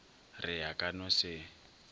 re a ka no se